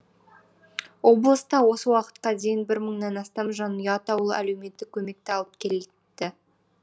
облыста осы уақытқа дейін бір мыңнан астам жанұя атаулы әлеуметтік көмекті алып келді